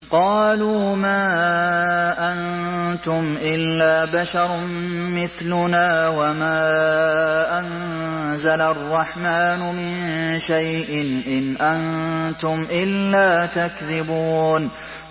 قَالُوا مَا أَنتُمْ إِلَّا بَشَرٌ مِّثْلُنَا وَمَا أَنزَلَ الرَّحْمَٰنُ مِن شَيْءٍ إِنْ أَنتُمْ إِلَّا تَكْذِبُونَ